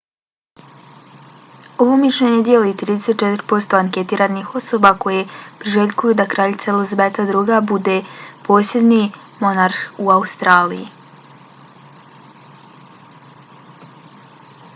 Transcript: ovo mišljenje dijeli 34 posto anketiranih osoba koje priželjkuju da kraljica elizabeta ii bude posljednji monarh u australiji